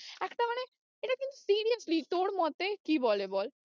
একটা মানে এটা কিন্তু seriously তোর মতে কি বলে বল।